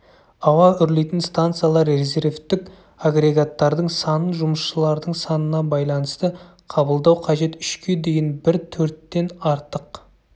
ауа үрлейтін станциялар резервтік агрегаттардың санын жұмысшылардың санына байланысты қабылдау қажет үшке дейін бір төрттен артық